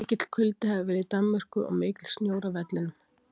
Mikill kuldi hefur verið í Danmörku og mikill snjór á vellinum.